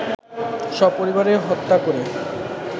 সপরিবারে হত্যা করে